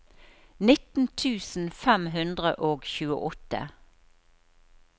nitten tusen fem hundre og tjueåtte